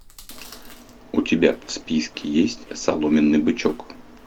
у тебя в списке есть соломенный бычок